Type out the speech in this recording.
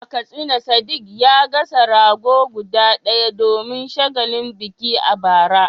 A Katsina Sadiq ya gasa rago guda ɗaya domin shagalin biki a bara.